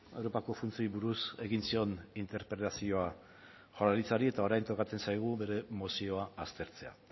europako funtsei buruz egin zion interpelazioa jaurlaritzari eta orain tokatzen zaigu bere mozioa aztertzea